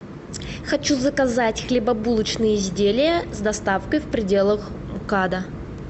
хочу заказать хлебобулочные изделия с доставкой в пределах мкада